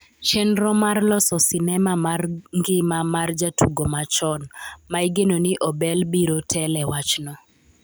chenro mar loso sinema mar ngima mar jatugo machon, ma igeno Ni Obel biro tele wachno